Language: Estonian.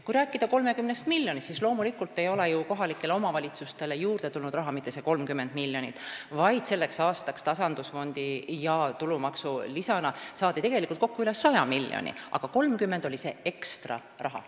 Kui rääkida 30 miljonist, siis loomulikult ei ole kohalikele omavalitsustele juurde tulnud raha mitte see 30 miljonit, vaid selleks aastaks saadi tasandusfondi ja tulumaksu lisana tegelikult üle 100 miljoni euro, aga 30 oli see ekstra raha.